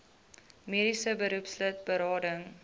mediese beroepslid berading